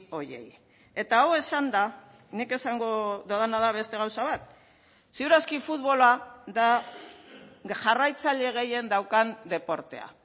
horiei eta hau esanda nik esango dodana da beste gauza bat ziur aski futbola da jarraitzaile gehien daukan deportea